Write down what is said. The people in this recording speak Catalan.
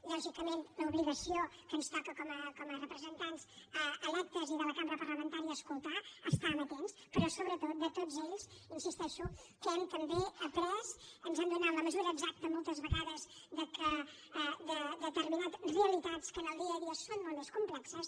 lògicament l’obligació que ens toca com a representants electes i de la cambra parlamentària és escoltar estar amatents però sobretot de tots ells hi insisteixo n’hem també après ens han donat la mesura exacta moltes vegades de determinades realitats que en el dia a dia són molt més complexes